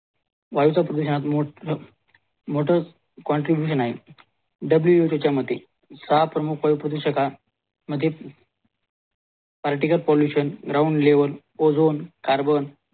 वायूच्या प्रदूषणात मोठा काँट्रीब्युशन आहे WHO च्या मते सहा प्रमुख प्रदूषकात मध्ये particulate pollution ground level ozone carbon